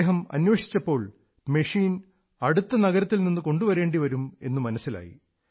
അദ്ദേഹം അന്വേഷിച്ചപ്പോൾ മെഷീൻ അടുത്ത നഗരത്തിൽ നിന്ന് കൊണ്ടുവരേണ്ടി വരും എന്നു മനസ്സിലായി